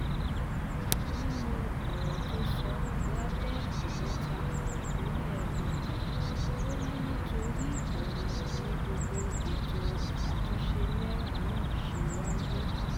nínú ọ̀rọ̀ tó sọ lápẹ́ọ́kúta ìpínlẹ̀ ogun ò ní torí òun ni gbogbo ètò àtúnṣe náírà náà ṣe wáyé